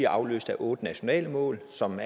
afløst af otte nationale mål som